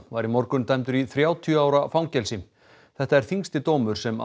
var í morgun dæmdur í þrjátíu ára fangelsi þetta er þyngsti dómur sem